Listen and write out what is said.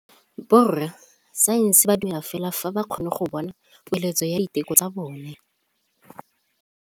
Borra saense ba dumela fela fa ba kgonne go bona poeletsô ya diteko tsa bone.